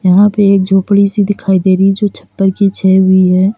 यहां पे एक झोपड़ी सी दिखाई दे रही जो छप्पर की छै हुई है।